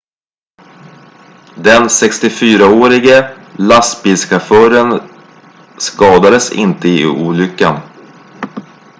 den 64-årige lastbilschauffören skadades inte i olyckan